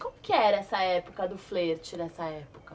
Como que era essa época do flerte nessa época?